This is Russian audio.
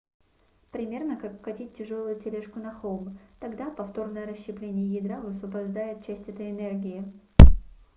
примерно как катить тяжелую тележку на холм тогда повторное расщепление ядра высвобождает часть этой энергии